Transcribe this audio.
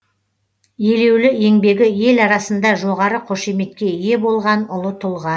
елеулі еңбегі ел арасында жоғары қошеметке ие болған ұлы тұлға